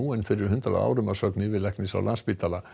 en fyrir hundrað árum að sögn yfirlæknis á Landspítala